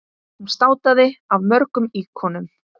Hún státaði af mörgum íkonum.